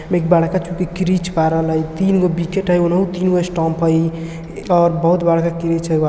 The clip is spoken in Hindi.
एक बड़का जो क्रिच पाडल हाई तीनगो बीचे टा तीनगो स्टाप हाई और बहुत बड़ाका क्रिच हाई|